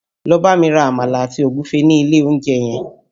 Lọ bámi ra Àmàlà àti Ògúfe ní ilé olóúnjẹ yẹn!